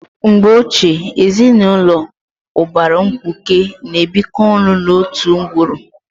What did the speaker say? Mgbe ochie, ezinụlọ ụbara mkpuke na-ebikọ ọnụ n'otu ngwuru.